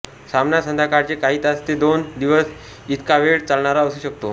सामना संध्याकाळचे काही तास ते दोन दिवस इतकावेळ चालणारा असू शकतो